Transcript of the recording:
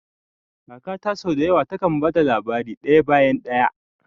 Kakata sau da yawa takan ba da labari daya bayan daya.